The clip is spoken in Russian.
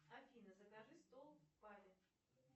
афина закажи стол в баре